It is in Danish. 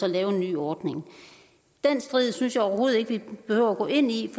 lave en ny ordning den strid synes jeg overhovedet ikke vi behøver at gå ind i